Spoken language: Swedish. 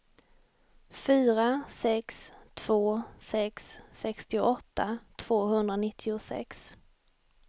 fyra sex två sex sextioåtta tvåhundranittiosex